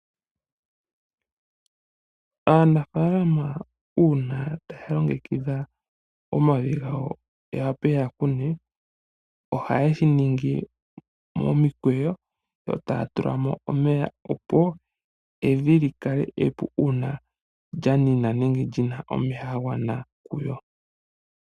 Aanafaalama uuna taya longekidha omavi gawo yawape yakune ohaye shiningi momikweyo yo taya tula mo omeya opo evi likale epu uuna lyanina nenge lina omeya gagwana kuyo.